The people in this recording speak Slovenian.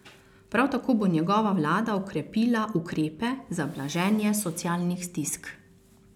Prav tako bo njegova vlada okrepila ukrepe za blaženje socialnih stisk.